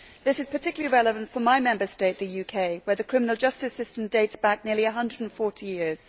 This is particularly relevant for my Member State, the UK, where the criminal justice system dates back nearly 140 years.